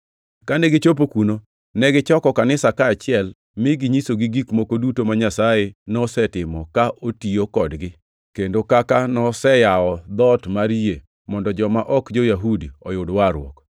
Kane gichopo kuno, negichoko kanisa kaachiel mi ginyisogi gik moko duto ma Nyasaye nosetimo ka otiyo kodgi, kendo kaka noseyawo dhoot mar yie mondo joma ok jo-Yahudi oyud warruok.